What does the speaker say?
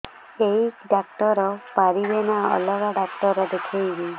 ଏଇ ଡ଼ାକ୍ତର ପାରିବେ ନା ଅଲଗା ଡ଼ାକ୍ତର ଦେଖେଇବି